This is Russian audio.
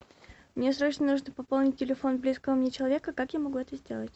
мне срочно нужно пополнить телефон близкого мне человека как я могу это сделать